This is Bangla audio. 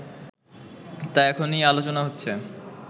তা এখনই আলোচনা হচ্ছে